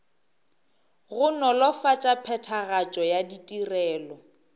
go nolofatša phethagatšo ya ditirelo